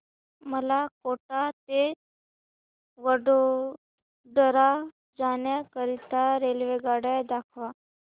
मला कोटा ते वडोदरा जाण्या करीता रेल्वेगाड्या दाखवा